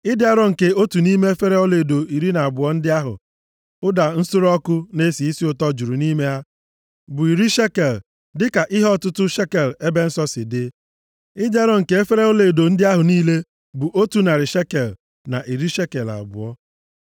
Ịdị arọ nke otu nʼime efere ọlaedo iri na abụọ ndị ahụ ụda nsure ọkụ na-esi isi ụtọ juru nʼime ha bụ iri shekel, dịka ihe ọtụtụ shekel ebe nsọ si dị. Ịdị arọ nke efere ọlaedo ndị ahụ niile bụ otu narị shekel na iri shekel abụọ.